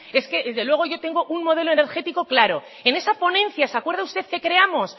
es que desde luego yo tengo un modelo energético claro en esa ponencia se acuerda usted que creamos